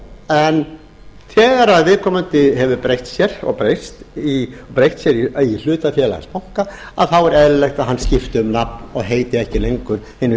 en þegar viðkomandi hefur breytt sér og breyst í hlutafélagsbanka er eðlilegt að hann skipti um nafn og heiti ekki lengur hinu